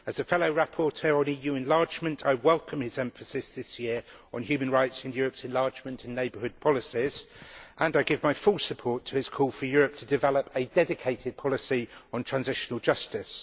As a fellow rapporteur on EU enlargement, I welcome his emphasis this year on human rights in Europe's enlargement and neighbourhood policies and I give my full support to his call for Europe to develop a dedicated policy on transitional justice.